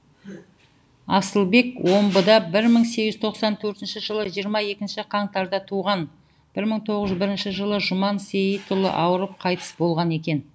асылбек омбыда бір мың сегіз жүз тоқсан төртінші жылы жиырма екінші қаңтарда туған бір мың тоғыз жүз бірінші жылы жұман сейітұлы ауырып қайтыс болған екен